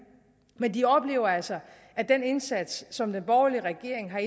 men de oplever altså at den indsats som den borgerlige regering har